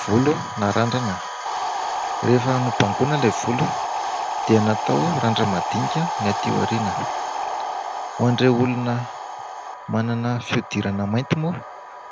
Volo narandrana, rehefa nobangona ilay volo dia natao randra-madinika ny aty aoriana. Ho an'ireo olona manana fihodirana mainty moa